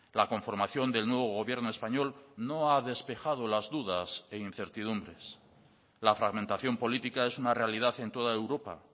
la conformación del nuevo gobierno español no ha despejado las dudas e incertidumbres la fragmentación política es una realidad en toda europa